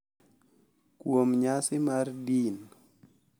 kuom nyasi mar din.